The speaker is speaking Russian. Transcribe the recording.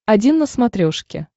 один на смотрешке